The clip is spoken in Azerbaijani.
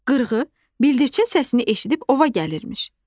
Qırğı bildirçin səsini eşidib ova gəlirmiş.